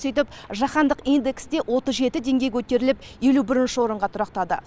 сөйіп жаһандық индексте отыз жеті деңгей көтеріліп елу бірінші орынға тұрақтады